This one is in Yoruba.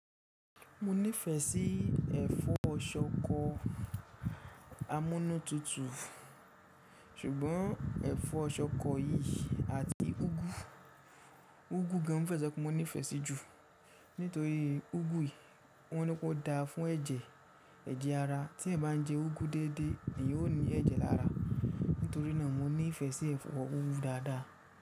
Mo nífẹ̀ẹ́ sí ẹ̀fọ́ ṣọkọ amúnútutù ṣùgbọ́n ẹ̀fọ́ ṣọkọ yìí àti úgú, úgú gan mo fẹ so pe mo nífẹ̀ẹ́ sí ju. Nítorí úgú yìí wọ́n ní pé ó dáa fún ẹ̀jẹ̀, ẹ̀jẹ̀ ara tí ẹeyan bá ń jẹ úgú déédé éeyan o ní ẹ̀jẹ̀ lára. Nítorí náà mo nífẹ̀ẹ́ sí ẹ̀fọ́ úgú dáadáa.